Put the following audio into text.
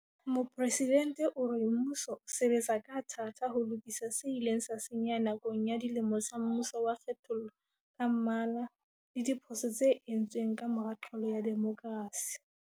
Mopresidente o re mmuso o sebetsa ka thata ho lokisa se ileng sa senyeha nakong ya dilemo tsa mmuso wa kgethollo ka mmala le diphoso tse entsweng ka mora qalo ya demokrasi.